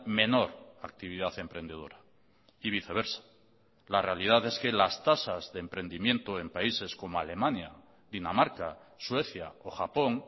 menor actividad emprendedora y viceversa la realidad es que las tasas de emprendimiento en países como alemania dinamarca suecia o japón